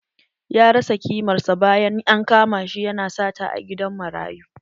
Ya rasa kimar sa bayan an kama shi ya na sata a gidan marayu